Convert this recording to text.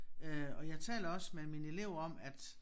Øh og jeg taler også med mine elever om at